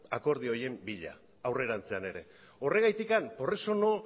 akordio horien bila aurrerantzean ere por eso